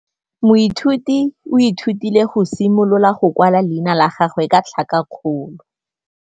Moithuti o ithutile go simolola go kwala leina la gagwe ka tlhakakgolo.